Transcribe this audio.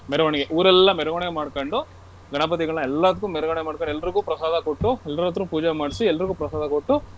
ಮೆರವಣಿಗೆ ಊರೆಲ್ಲಾ ಮೆರವಣಿಗೆ ಮಾಡ್ಕೊಂಡು ಗಣಪತಿಗಳ್ನ ಎಲ್ಲದಕ್ಕೂ ಮೆರವಣಿಗೆ ಮಾಡ್ಕೊಂಡು ಎಲ್ರಿಗೂ ಪ್ರಸಾದ ಕೊಟ್ಟು ಎಲ್ಲರತ್ರ ಪೂಜೆ ಮಾಡ್ಸಿ ಎಲ್ರಿಗೂ ಪ್ರಸಾದ ಕೊಟ್ಟು.